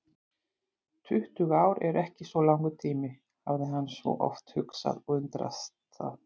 Tuttugu ár eru ekki svo langur tími, hafði hann svo oft hugsað og undrast það.